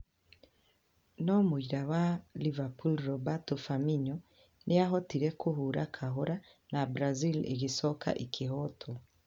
No mũira wa Liverpool Roberto Firmino nĩ aahotire kũhũũra kahora na Brazil ĩgĩcoka ĩkĩhootwo.